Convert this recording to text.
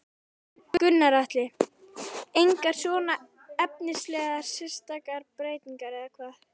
Gunnar Atli: Engar svona efnislegar sérstakar breytingar eða hvað?